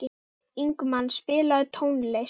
Ingimagn, spilaðu tónlist.